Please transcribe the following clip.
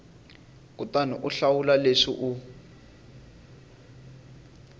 kutani u hlawula leswi u